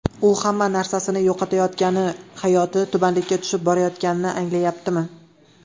U hamma narsasini yo‘qotayotgani, hayoti tubanlikka tushib borayotganini anglayaptimi?